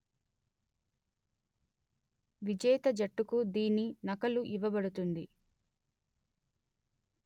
విజేత జట్టుకు దీని నకలు ఇవ్వబడుతుంది